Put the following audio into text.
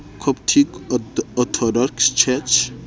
coptic orthodox church